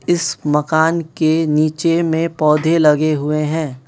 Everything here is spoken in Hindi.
इस मकान के नीचे में पौधे लगे हुए हैं।